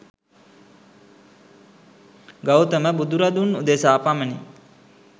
ගෞතම බුදුරදුන් උදෙසා පමණි.